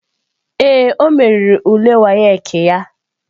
Ee, o meriri ule WAEC ya.